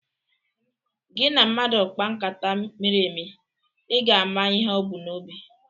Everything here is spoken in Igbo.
Gị na mmadụ kpaa nkata miri emi, ị ga-ama ihe o bu n'obi